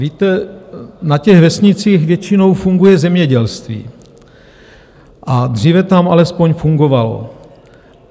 Víte, na těch vesnicích většinou funguje zemědělství, nebo dříve tam alespoň fungovalo.